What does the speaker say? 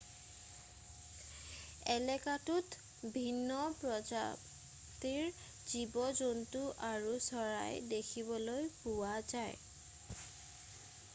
এলেকাটোত ভিন্ন প্ৰজাতিৰ জীৱ-জন্তু আৰু চৰাই দেখিবলৈ পোৱা যায়